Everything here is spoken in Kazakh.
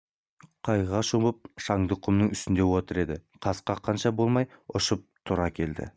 қайғыға шомып шаңдақ құмның үстінде отыр еді қас қаққанша болмай ұшып тұра келді